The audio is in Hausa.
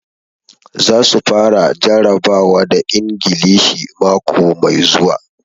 Za su fara jarabawa da Ingilishi mako mai zuwa.